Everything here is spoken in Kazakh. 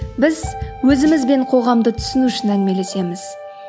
біз өзіміз бен қоғамды түсіну үшін әңгімелесеміз